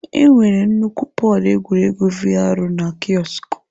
Enwere nnukwu pọd egwuregwu VR na kiosk.